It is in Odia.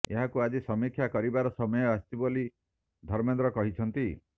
ଏହାକୁ ଆଜି ସମୀକ୍ଷା କରିବାର ସମୟ ଆସିଛି ବୋଲି ଧର୍ମେନ୍ଦ୍ର କହିଛନ୍ତି